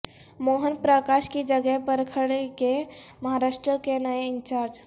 موہن پرکاش کی جگہ پر کھڑگے مہاراشٹر کے نئے انچارج